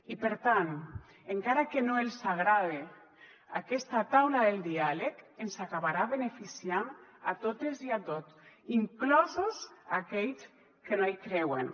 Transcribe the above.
i per tant encara que no els agrade aquesta taula del diàleg ens acabarà beneficiant a totes i a tots inclosos aquells que no hi creuen